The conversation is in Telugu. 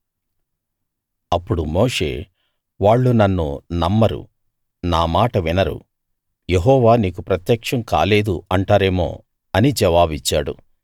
అప్పుడు మోషే వాళ్ళు నన్ను నమ్మరు నా మాట వినరు యెహోవా నీకు ప్రత్యక్షం కాలేదు అంటారేమో అని జవాబిచ్చాడు